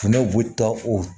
Ne bɛ taa o